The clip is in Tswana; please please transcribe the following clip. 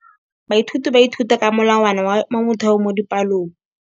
Baithuti ba ithuta ka molawana wa motheo mo dipalong.